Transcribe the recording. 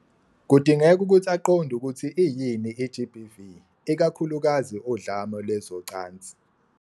Kudingeka ukuthi aqonde ukuthi iyini i-GBV, ikakhulukazi udlame lwezocansi.